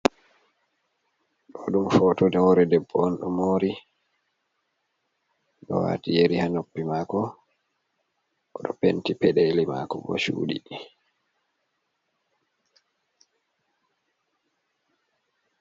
Ɗo ɗum foto hore debbo on ɗo mori, ɗo wati yeri ha noppi mako, oɗo penti peɗeli mako bo chuɗi.